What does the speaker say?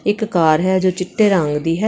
ਇੱਕ ਕਾਰ ਹੈ ਜੋ ਚਿੱਟੇ ਰੰਗ ਦੀ ਹੈ।